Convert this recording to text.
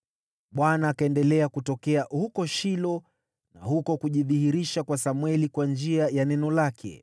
Bwana akaendelea kutokea huko Shilo, na huko kujidhihirisha kwa Samweli kwa njia ya neno lake.